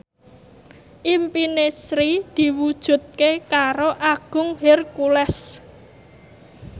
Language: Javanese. impine Sri diwujudke karo Agung Hercules